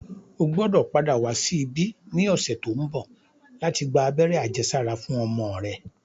O gbọ́dò padà wá sí ibí ní ọ̀sẹ̀ tó ń bọ̀ láti gba abẹ́rẹ́ àjẹsára fún ọmọ rẹ